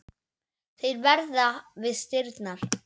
Þeir verða við dyrnar.